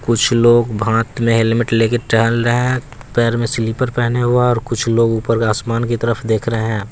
कुछ लोग भांट में हेलमेट लेके टेहल रहे हैं पैर में स्लीपर पेहने हुआ है और कुछ लोग ऊपर आसमान की तरफ देख रहे हैं।